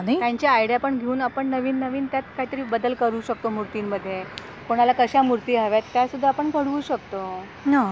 त्यांची आइडिया पण घेऊन आपण नवीन नवीन त्यात काहीतरी बदल करू शकतो मूर्ती मध्ये कोणा ला कशा मूर्ती हव्या त्या सुद्धा आपण घडवू शकतो ना